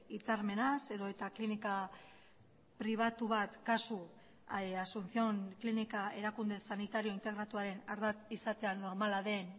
hitzarmenaz edota klinika pribatu bat kasu asunción klinika erakunde sanitario integratuaren ardatz izatea normala den